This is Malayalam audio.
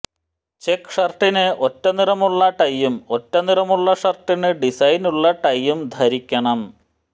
ചെക്ക് ഷര്ട്ടിന് ഒറ്റനിറമുള്ള ടൈയും ഒറ്റനിറമുള്ള ഷര്ട്ടിന് ഡിസൈനുള്ള ടൈയും ധരിക്കണം